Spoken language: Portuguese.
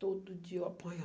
Todo dia eu